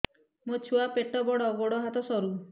ମୋ ଛୁଆ ପେଟ ବଡ଼ ଗୋଡ଼ ହାତ ସରୁ